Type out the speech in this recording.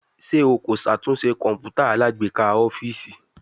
Ṣe o ko ṣatunṣe kọǹpútà alágbèéká ọfiisi?